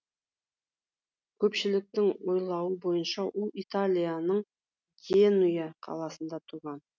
көпшіліктің ойлауы бойынша ол италияның генуя қаласында туған